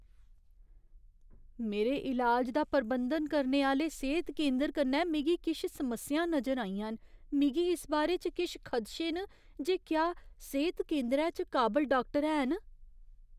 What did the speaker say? मेरे इलाज दा प्रबंधन करने आह्‌ले सेह्त केंदर कन्नै मिगी किश समस्यां नजर आइयां न। मिगी इस बारे च किश खदशे न जे क्या सेह्त केंदरै च काबल डाक्टर हैन।